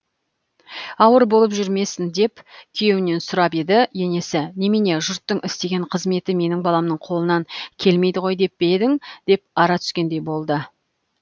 ауыр болып жүрмесін деп күйеуінен сұрап еді енесі немене жұрттың істеген қызметі менің баламның қолынан келмейді ғой деп пе едің деп ара түскендей болды